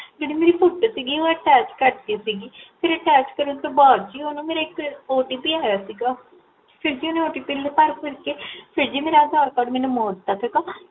ਜੇਹੜੀ ਮੇਰੀ ਫੋਟੋ ਸੀਗੀ ਓਹ Attach ਕਰਤੀ ਸੀਗੀ, ਫੇਰ Attach ਕਰਨ ਤੋ ਬਾਦ ਜੀ ਓਹ ਨਾ ਮੇਰੇ ਇਕ OTP ਆਇਆ ਸੀਗਾ ਫੇਰ ਜੀ ਓਨੇ ਮੇਰਾ OTP ਭਰ ਭੁਰ ਕੇ ਮੇਰਾ ਅਧਾਰ ਕਾਰਡ ਮੈਨੂੰ ਮੋੜ ਤਾ ਸੀ ਗਾ